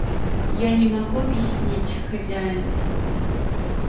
я не могу объяснить хозяин